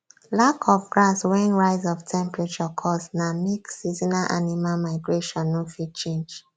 lack of grass wen rise of temperature cause na make seasonal animal migration nor fit change